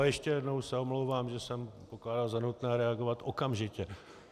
A ještě jednou se omlouvám, že jsem pokládal za nutné reagovat okamžitě.